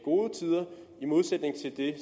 det